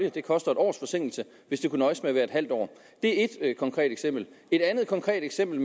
at det koster et års forsinkelse hvis det kunne nøjes med at være halvt år det er ét konkret eksempel et andet konkret eksempel